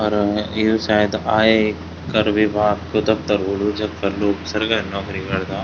अर यु सायद आयकर विभाग कु दफ्तर होलू जख पर लोग सरकारी नौकरी करदा।